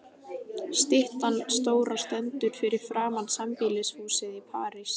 Styttan stóra stendur fyrir framan sambýlishúsið í París.